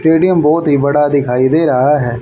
Stadium बहुत ही बड़ा दिखाई दे रहा है।